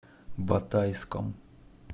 батайском